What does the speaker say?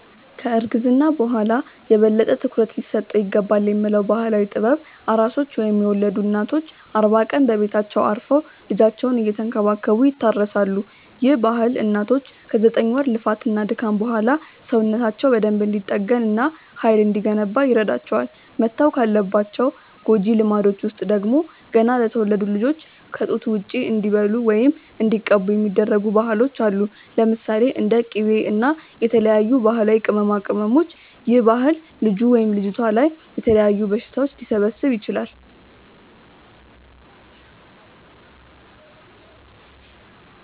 ከ እርግዝና በኋላ የበለጠ ትኩረት ሊሰጠው ይገባልብ የሚባለው ባህላዊ ጥበብ፤ ኣራሶች ወይም የወለዱ እናቶች አርባ ቀን በቤታቸው አርፈው ልጃቸውን እየተንከባከቡ ይታረሳሉ፤ ይህ ባህል እናቶች ከ ዘጠኝ ወር ልፋት እና ድካም በኋላ ሰውነታቸው በደንብ እንዲጠገን እና ሃይል እንዲገነባ ይረዳቸዋል። መተው ካለባቸው ጎጂ ልማዶች ውስጥ ደግሞ፤ ገና ለተወለዱት ልጆች ከ ጡት ውጪ እንዲበሉ ወይም እንዲቀቡ የሚደረጉ ባህሎች አሉ። ለምሳሌ፦ እንደ ቂቤ እና የተለያዩ ባህላዊ ቅመማቅመሞች ይህ ባህል ልጁ/ልጅቷ ላይ የተለያዩ በሽታዎች ሊሰበስብ ይችላል